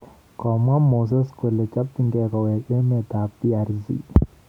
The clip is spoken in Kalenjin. Komwaa Moise kole chopchingei koweek emet ab DRC.